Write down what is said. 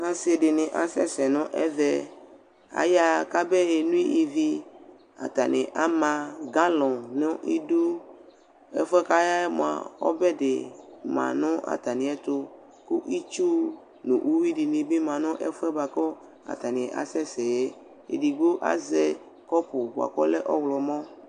Asɩ dɩnɩ asɛ se nʋ ɛvɛ Ayaɣa kabe eno ivi Atanɩ ama galɔŋ nʋ idu Ɛfʋɛ kʋ aya yɛ mʋa, ɔbɛ dɩ ma nʋ atamɩ ɛtʋ, kʋ itsu nʋ uyʋi dɩnɩ bɩ ma nʋ ɛfʋɛ bʋakʋ atanɩ asɛ sɛ yɛ, Edigbo azɛ kɔpʋ bʋakʋ ɔlɛ ɔɣlɔmɔ